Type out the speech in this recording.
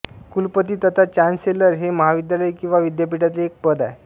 कुलपती तथा चान्सेलर हे महाविद्यालय किंवा विद्यापीठातील एक पद आहे